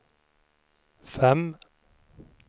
fem